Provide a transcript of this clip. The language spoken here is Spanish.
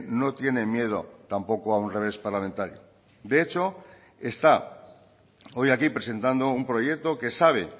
no tiene miedo tampoco a un revés parlamentario de hecho está hoy aquí presentando un proyecto que sabe